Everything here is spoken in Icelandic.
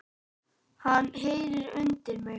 Hann heyrir undir mig.